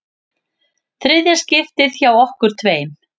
Þriðja skiptið hjá okkur tveim.